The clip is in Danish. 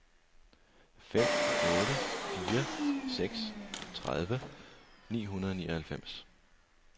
fem otte fire seks tredive ni hundrede og nioghalvfems